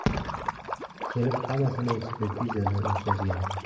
– Kelib hammasini ekspertizadan o‘tkazgan.